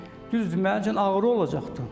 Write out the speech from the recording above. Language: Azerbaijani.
Düzdür, mənim üçün ağrı olacaqdır.